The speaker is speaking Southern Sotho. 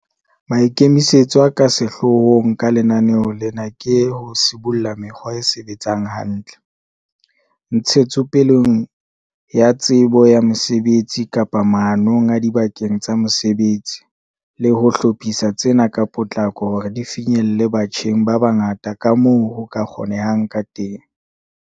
Maikemisetso a ka sehloohong ka lenaneo lena ke ho sibolla mekgwa e sebetsang hantle, ntshetsopeleng ya tsebo ya mosebetsi kapa maanong adibakeng tsa mosebetsi, le ho hlophisa tsena ka potlako hore di finyelle batjheng ba bangata kamoo ho ka kgonehang kateng.